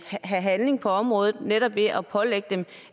have handling på området netop ved at pålægge dem